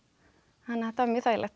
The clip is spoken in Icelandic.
þannig að þetta var mjög þægilegt